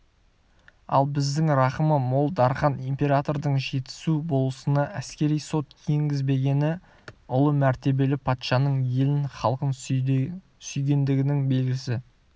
ал біздің рақымы мол дархан императордың жетісу болысына әскери сот енгізбегені ұлы мәртебелі патшаның елін халқын сүйгендігінің белгісі